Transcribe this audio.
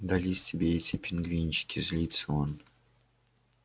дались тебе эти пингвинчики злится он